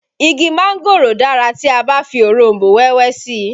Igi mángòrò dára tí a bá fi òronbó wẹ́wẹ́ sí i